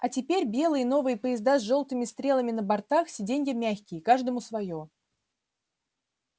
а теперь белые новые поезда с жёлтыми стрелами на бортах сиденья мягкие каждому своё